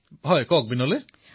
প্ৰধানমন্ত্ৰীঃ হয় বিনোলে কওক